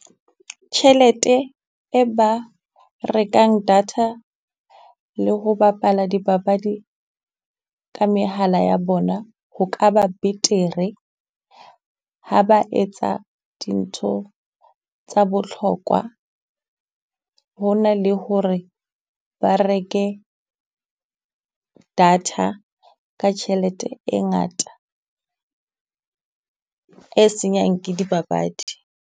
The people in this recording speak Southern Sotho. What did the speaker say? Tjhelete e ba rekang data le ho bapala dipapadi ka mehala ya bona, ho ka ba betere ha ba etsa dintho tsa botlhokwa. Ho na le ho re ba reke data ka tjhelete e ngata, e senyang ke dipapadi.